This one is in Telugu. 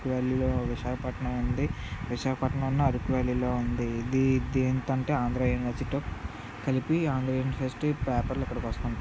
ఘ్త్ పాలేపట్నం విశాఖపట్నం అరకు వ్యాలీలో ఉండేది దీనికంటే ఆంధ్రజ్యోతితో కలిపి ఆమె ఇండస్ట్రీ పేపర్ లో ప్రకాశం జిల్లా విశాఖపట్నం.